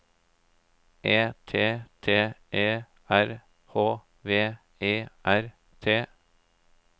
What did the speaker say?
E T T E R H V E R T